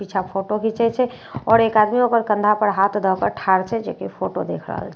पीछा फोटो घिचए छे आओर एक आदमी ओकर कन्धा पर हाथ दए कए ठार छै जेकि फोटो देख रहल छे--